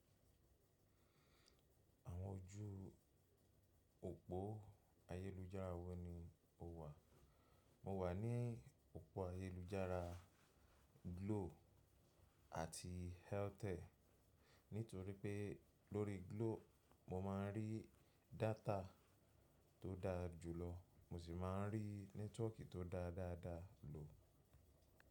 Àwọn ojú òpó ayélujára wọ́ ni o wà? Mo wà ní òpó ayélujára Glo àti Airtel. Nítorí pé lórí Glo mo máa ń rí data tó dáa jùlọ mo sì máa ń rí nẹ́tíwọ̀kì tó dáa dáa dáa lò.